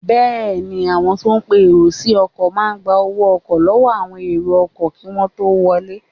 Bẹẹni, àwọn tó ń pe èrò sí ọkọ̀ máa gba owó ọkọ̀ lọ́wọ́ àwọn èrò ọkọ̀ kí wọ́n tó wọlé